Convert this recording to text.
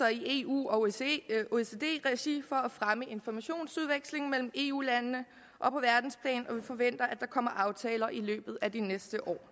i eu og oecd regi for at fremme informationsudvekslingen mellem eu landene og på verdensplan og vi forventer at der kommer aftaler i løbet af de næste år